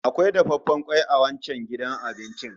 Akwai dafaffen kwai a wancan gidan abincin